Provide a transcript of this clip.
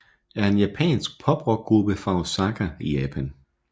er en japansk poprockgruppe fra Osaka i Japan